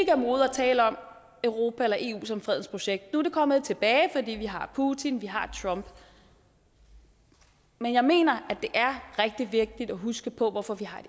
tale om europa eller eu som fredens projekt nu er det kommet tilbage fordi vi har putin og vi har trump men jeg mener at det er rigtig vigtigt at huske på hvorfor vi har